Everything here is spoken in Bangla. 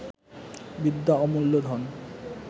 বিদ্যা অমূল্য ধন